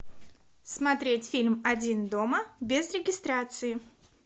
смотреть фильм один дома без регистрации